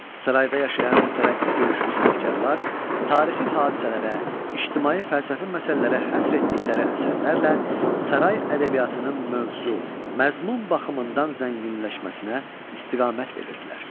Sarayda yaşayan mütərəqqi görüşlü sənətkarlar tarixi hadisələrə, ictimai fəlsəfi məsələlərə həsr etdikləri əsərlərlə saray ədəbiyyatının mövzu, məzmun baxımından zənginləşməsinə istiqamət verirdilər.